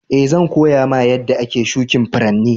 Eh, zan koya ma yadda ake shukin Furanni.